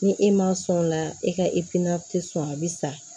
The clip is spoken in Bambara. Ni e ma sɔn o la e ka tɛ sɔn a bi sa